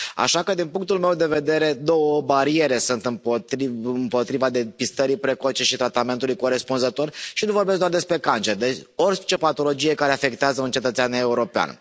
Așa că din punctul meu de vedere, două bariere sunt împotriva depistării precoce și tratamentului corespunzător, și nu vorbesc doar despre cancer, despre orice patologie care afectează un cetățean european.